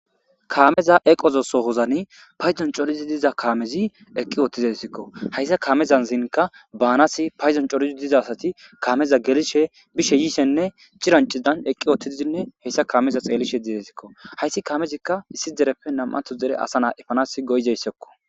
kaameza eqozo sohozani payzon corizi diza kaamezi eqqi oottizesikko hayssa kaamezan zinka baanas payzon corizi diza asati kaameza gerishe bishe yiishenne cirancidan eqqi oottidzinne hessa kaameza xeelishe dedesikko hayssi kaamezikka issi dereppe nam7ato zere asa naa ifanas goyzayssekko